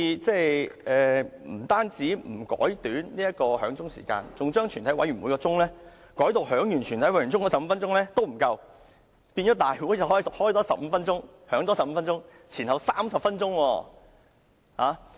他們不但不縮短響鐘時間，更嫌全體委員會審議階段響鐘15分鐘也不足夠，須在回復為立法會後再多響鐘15分鐘，合共30分鐘。